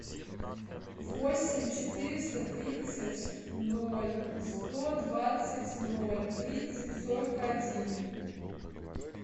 восемь четыреста тридцать ноль сто двадцать ноль тридцать сорок один